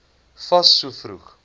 fas so vroeg